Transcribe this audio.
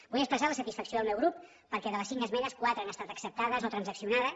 vull expressar la satisfacció del meu grup perquè de les cinc esmenes quatre han estat acceptades o transaccionades